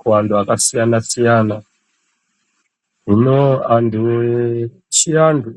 kuantu akasiyana siyana hino antu echiantu.